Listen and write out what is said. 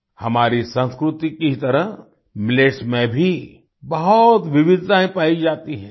हमारी संस्कृति की ही तरह मिलेट्स में भी बहुत विविधताएँ पाई जाती हैं